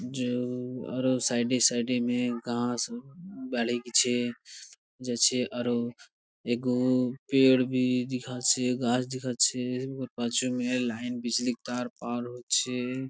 যে আর ও সাইড -এ সাইড -এ মে ঘাস বাড়ে গেছে | যাচ্ছে আর ও দেখাচ্ছে গাছ দেখাচ্ছে | লাইন বিজলী তার পার হচ্ছে।